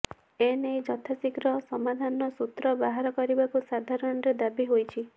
ଏନେଇ ଯଥାଶୀଘ୍ର ସମାଧାନର ସୁତ୍ର ବାହାର କରିବାକୁ ସାଧାରଣରେ ଦାବି ହୋଇଛି